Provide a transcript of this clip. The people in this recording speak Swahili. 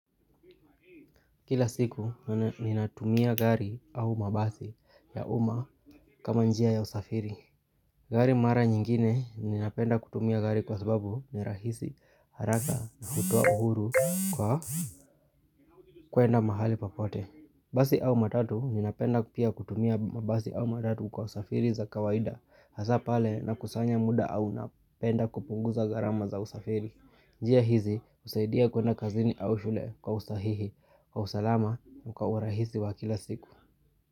Kila siku ninatumia gari au mabasi ya uma kama njia ya usafiri Gari mara nyingine ninapenda kutumia gari kwa sababu ni rahisi haraka na hutoa uhuru kwa kuenda mahali popote Basi au matatu ninapenda kutumia mabasi au matatu kwa usafiri za kawaida Hasapale nakusanya muda au napenda kupunguza garama za usafiri njia hizi husaidia kuwenda kazini au shule kwa usahihi Kwa usalama kwa urahisi wa kila siku.